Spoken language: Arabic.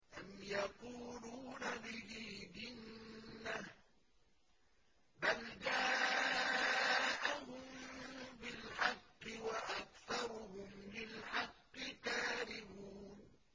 أَمْ يَقُولُونَ بِهِ جِنَّةٌ ۚ بَلْ جَاءَهُم بِالْحَقِّ وَأَكْثَرُهُمْ لِلْحَقِّ كَارِهُونَ